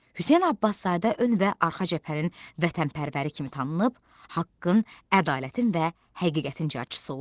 Hüseyn Abbaszadə ön və arxa cəbhənin vətənpərvəri kimi tanınıb, haqqın, ədalətin və həqiqətin carçısı olub.